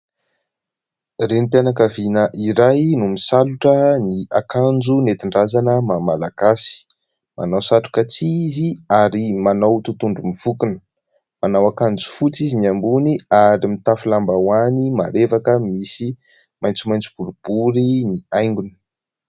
Renim-pianakaviana iray no misalotra ny akanjo nentin-drazana maha-malagasy. Manao satroka tsihy izy ary manao totohondry mivonkona. Manao akanjo fotsy izy ny ambony ary mitafy lambahoany marevaka misy maitsomaitso boribory ny haingony.